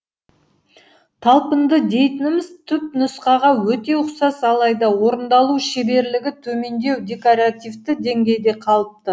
талпынды дейтініміз түпнұсқаға өте ұқсас алайда орындалу шеберлігі төмендеу декоративті деңгейде қалыпты